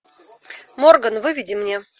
морган выведи мне